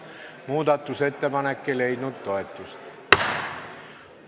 Muudatusettepanek ei leidnud toetust.